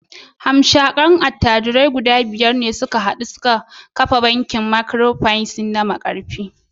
Hamshakan attajirai guda biyar ne suka taru suka kafa bankin Microfinance na Markafi